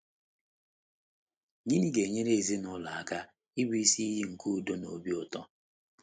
Gịnị ga - enyere ndụ ezinụlọ aka ịbụ isi iyi nke udo na obi ụtọ?